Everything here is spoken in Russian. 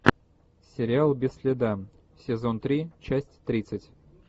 сериал без следа сезон три часть тридцать